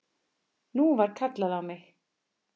Nú var kallað á mig!